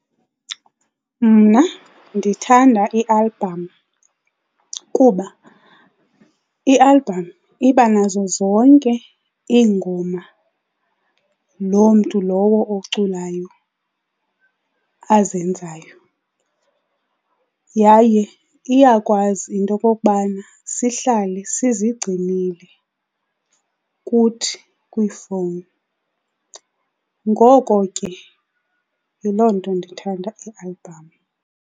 Mna ndithanda ialbham kuba ialbham iba nazo zonke iingoma loo mntu lowo oculayo azenzayo, yaye iyakwazi into okokubana sihlale sizigcinile kuthi kwiifowuni. Ngoko ke yiloo nto ndithanda ialbham.